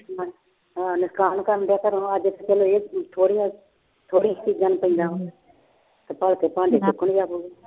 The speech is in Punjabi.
ਹਾਂ ਨੁਕਸਾਨ ਕਰਨਡਿਆ ਘਰੋਂ ਅੱਜ ਤੇ ਚਲੋ ਇਹ ਥੋੜ੍ਹੀਆਂ ਥੋੜ੍ਹੀ ਚੀਜ਼ਾਂ ਨੂੰ ਪੈਂਦਾ ਤੇ ਭਲਕੇ ਭਾਂਡੇ ਚੁੱਕਣ